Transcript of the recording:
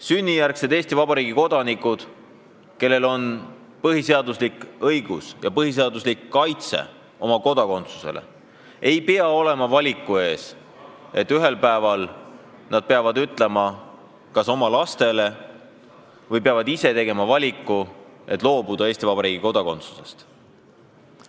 Sünnijärgsed Eesti Vabariigi kodanikud, kellel on põhiseaduslik õigus Eesti kodakondsusele, ei pea ühel päeval seisma valiku ees, kas loobuda Eesti Vabariigi kodakondsusest ja panna selle valiku ette ka oma lapsed.